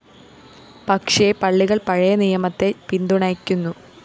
പക്ഷേ പള്ളികള്‍ പഴയനിയമത്തെ പിന്തുണയ്ക്കുന്നു